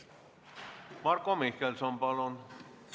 Marko Mihkelson, palun!